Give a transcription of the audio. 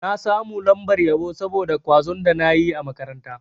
Na samu lambar yabo saboda kwazon da na yi a makaranta.